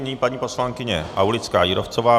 Nyní paní poslankyně Aulická Jírovcová.